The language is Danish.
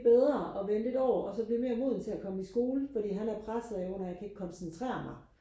bedre og vente et år og så blive mere moden til og komme i skole fordi han er presset under at jeg kan ikke koncentrere mig